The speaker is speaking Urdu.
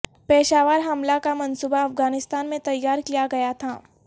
پشاور حملہ کا منصوبہ افغانستان میں تیار کیا گیا تھا